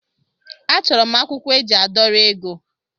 A chọrọ m akwụkwọ eji a dọrọ ego.